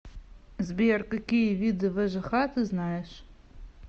сбер какие виды вэжх ты знаешь